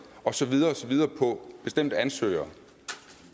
og så videre og så videre på bestemte ansøgere